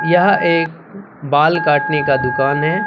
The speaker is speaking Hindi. यह एक बाल काटने की दुकान है।